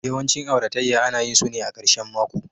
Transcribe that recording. Yawancin auratayya ana yin su ne a ƙarshen mako